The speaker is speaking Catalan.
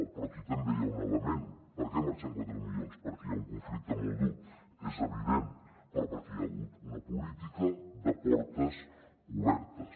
però aquí també hi ha un element per què en marxen quatre milions perquè hi ha un conflicte molt dur és evident però perquè hi ha hagut una política de portes obertes